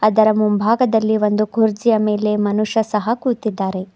ಇದರ ಮುಂಭಾಗದಲ್ಲಿ ಒಂದು ಕುರ್ಚಿಯ ಮೇಲೆ ಮನುಷ್ಯನು ಸಹ ಕುಂಚಿದ್ದಾರೆ.